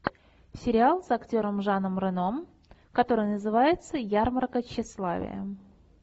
сериал с актером жаном рено который называется ярмарка тщеславия